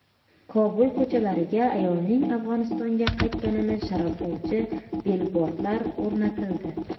Kobul ko‘chalariga ayolning Afg‘onistonga qaytganini sharaflovchi bilbordlar o‘rnatildi .